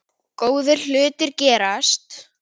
Góðir hlutir gerast hægt.